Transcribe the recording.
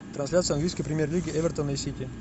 трансляция английской премьер лиги эвертона и сити